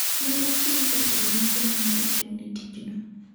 Ne ochiw pesago ne joma ne ochung'ne tijno.